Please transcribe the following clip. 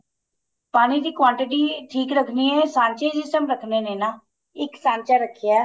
ਪਾਣੀ ਦੀ quantity ਠੀਕ ਰੱਖਣੀ ਏ ਸਾਂਚੇ ਜਿਸ time ਰੱਖਣੇ ਨੇ ਨਾ ਇੱਕ ਸਾਂਚਾ ਰੱਖਿਆ